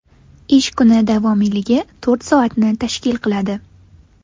Ish kuni davomiyligi to‘rt soatni tashkil qiladi.